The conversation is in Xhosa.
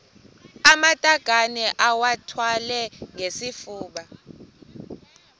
amatakane iwathwale ngesifuba